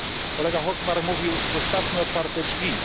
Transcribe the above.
Kolega Hökmark mówił zostawmy otwarte drzwi.